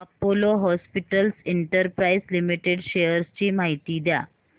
Apollo hospitals enterprise limited shares ची माहिती द्या